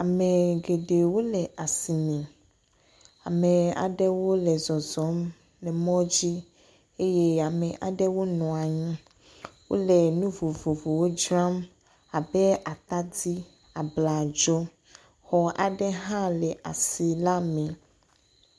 Ame geɖewo le asi me, ame aɖewo le zɔzɔm le mɔ dzi eye amewo nɔ anyi. Wole nu vovovowo dzram abe atadi, abladzo. Xɔ aɖewo hã le asi la me.